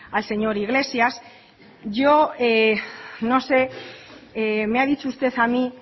al señor iglesias yo no sé me ha dicho usted a mí